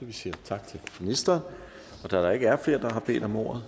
vi siger tak til ministeren da der ikke er flere der har bedt om ordet